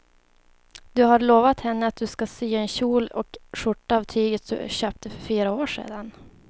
Du har lovat henne att du ska sy en kjol och skjorta av tyget du köpte för fyra år sedan.